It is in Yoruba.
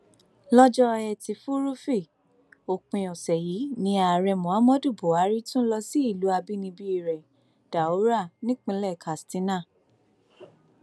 lọjọ etí furuufee òpin ọsẹ yìí ni ààrẹ muhammadu buhari tún lọ sí ìlú àbínibí rẹ daura nípínlẹ katsina